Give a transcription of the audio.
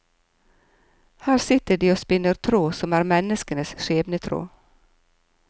Her sitter de og spinner tråd som er menneskenes skjebnetråd.